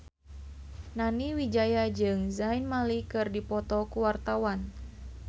Nani Wijaya jeung Zayn Malik keur dipoto ku wartawan